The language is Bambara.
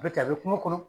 A bɛ kɛ a bɛ kungo kɔnɔ